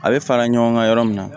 A bɛ fara ɲɔgɔn kan yɔrɔ min na